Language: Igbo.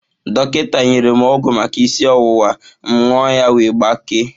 Dọkịta nyere m ọgwụ maka isi ọwụwa, m ṅụọ ya wee gbakee